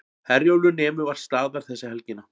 Herjólfur nemur vart staðar þessa helgina